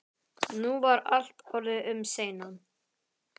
Nú var allt orðið um seinan.